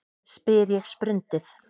spyr ég sprundið.